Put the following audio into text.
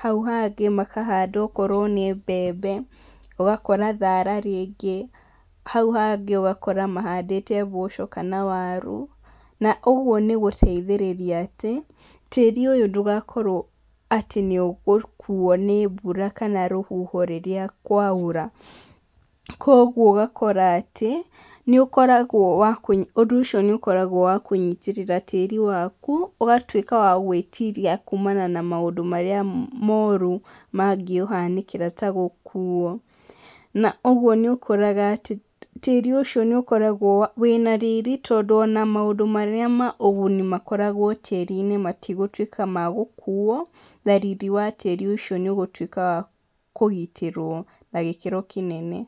hau hangĩ makahanda ona korwo nĩ mbembe ũgakora thara rĩngĩ, hau hangĩ ũgakora mahandĩte mboco kana waru, na ũguo nĩ gũteithĩrĩria tĩri ũyũ ndũgakorwo atĩ nĩ ũgũkuo nĩ mbura kana rũhuho rĩrĩa kwaura, kwoguo ũgakora atĩ nĩ ũkoragwo, ũndũ ũcio nĩ ũkoragwo wa kũnyitĩrĩra tĩri waku ũgatuĩka wa gwĩtiria kumana na maũndũ marĩa moru mangĩũhanĩkĩra ta gũkuo, na ũguo nĩ ũkoraga atĩ tĩri ũcio nĩ ũkoragwo wĩna riri tondũ ona maũndũ manene ma ũguni makoragwo tĩri-inĩ matigũtuĩka ma gũkuo na riri wa tĩri ũcio nĩ ũgũtuĩka wa kũgitĩrwo na gĩkĩro kĩnene.